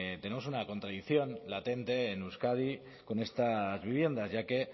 tenemos una contradicción latente en euskadi con estas viviendas ya que